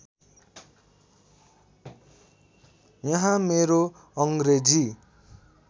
यहाँ मेरो अङ्ग्रेजी